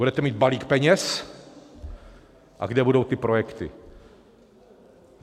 Budete mít balík peněz - a kde budou ty projekty?